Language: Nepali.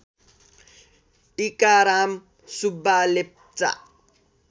टीकाराम सुब्बा लेप्चा